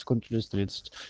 секунд через тридцать